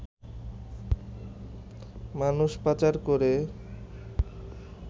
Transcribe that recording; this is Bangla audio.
মানুষ পাচার করে